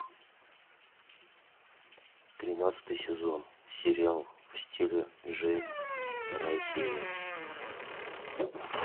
тринадцатый сезон сериал в стиле джейн вторая серия